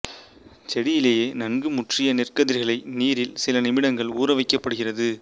செடியிலேயே நன்கு முற்றிய நெற்கதிர்களை நீரில் சில நிமிடங்கள் ஊறவைக்கப்படுகிறது